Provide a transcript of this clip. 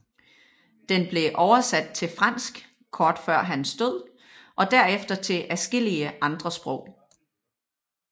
Den blev oversat til fransk kort efter hans død og derefter til adskillige andre sprog